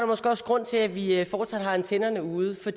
måske også grund til at vi fortsat har antennerne ude for